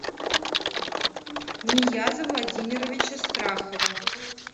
нияза владимировича страхова